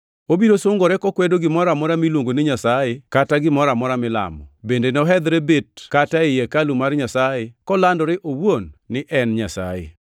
Obiro sungore kokwedo gimoro amora miluongo ni Nyasaye kata gimoro amora milamo. Bende nohedhre bet kata ei hekalu mar Nyasaye kolandore owuon ni en Nyasaye.